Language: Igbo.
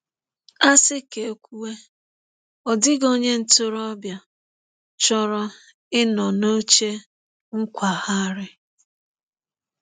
“A sị ka e kwuwe, ọ dịghị onye ntorobịa chọrọ ịnọ n’oche nkwagharị.